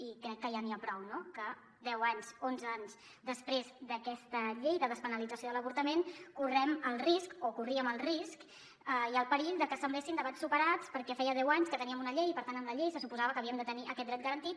i crec que ja n’hi ha prou no que deu anys onze anys després d’aquesta llei de despenalització de l’avortament correm el risc o corríem el risc i el perill de que semblessin debats superats perquè feia deu anys que teníem una llei i per tant amb la llei se suposava que havíem de tenir aquest dret garantit